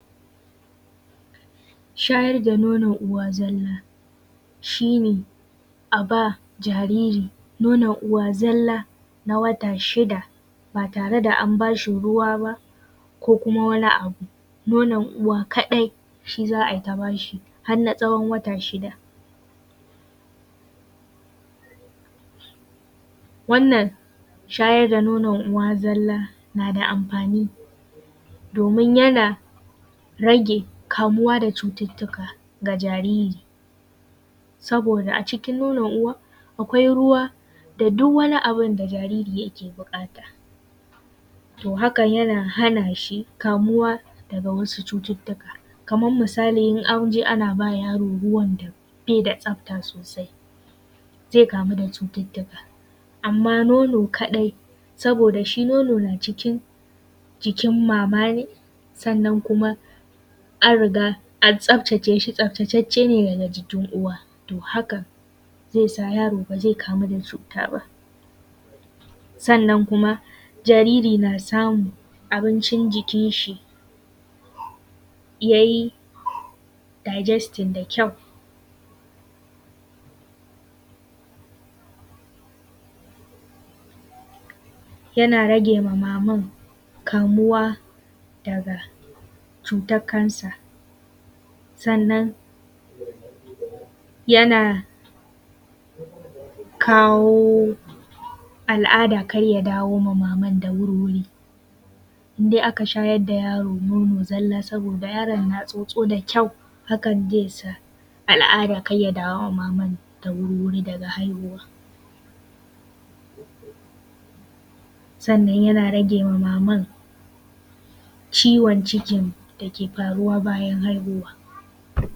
Shayar da nonon uwa zalla. Shi ne a ba jariri nonon uwa zalla na wata shida ba tare da an bas hi ruwa ba ko kuma wani abu, nonon uwa kaɗai shi za ai ta bas hi har na tsawon wata shida. Wannan shayar da nonon uwa zalla na da amfani domin yana rage kamuwa da cututtuka ga jariri saboda a cikin nonon uwa, akwai ruwa da duk wani abu da jariri yake buƙata. To haka yana hana shi daga kamuwa da wasu cututtuka. Kamar misali idan an je ana ba yaro ruwan nan bai da tsafta sosai zai kamu da cututtuka. Amma nono kaɗai saboda shi nono yana cikin jikin mama ne, sannan kuma an riga an tsaftace shi, tsaftacaccene daga jikin uwa. To haka zai sa yaro ba zai kamu da cuta ba. Sannan kuma jariri na samun abincin jikin shi ya yi digesting da kyau. Yana rage ma mamar kamuwa da cutar cancer. Sannan yana kawo al’ada kar ya dawo ma maman da wuri. In dai aka shayar da yaro nono zalla saboda yaron na tsotso da kyau hakn zai sal al’ada kar ya dawo ma maman da wuri daga haihuwa. Sannan yana ragewa maman ciwon cikin da ke faruwa bayan haihuwa.